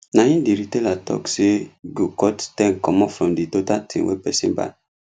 na him the retailer talk say him go cut ten commot from the total thing wey person buy